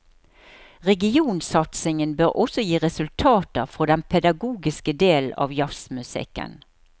Regionsatsingen bør også gi resultater for den pedagogiske delen av jazzmusikken.